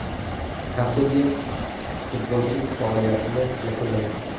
Kasilyas futbolchilik faoliyatini yakunlaydi.